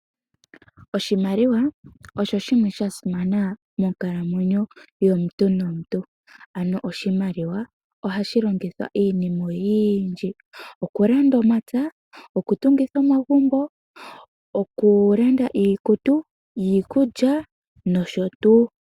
Oshimaliwa osho shimwe sha simana monkalamwenyo yomuntu nomuntu ano oshimaliwa ohashi longithwa iinima oyindji, okulanda omapya, okutungitha omagumbo, okulanda iikutu, iikulya nosho tuu.